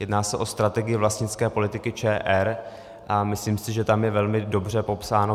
Jedná se o strategii vlastnické politiky ČR a myslím si, že tam je velmi dobře popsáno.